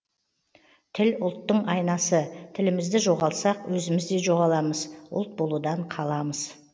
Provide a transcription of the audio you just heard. тіл ұлттың айнасы тілімізді жоғалтсақ өзімізде жоғаламыз ұлт болудан қаламыз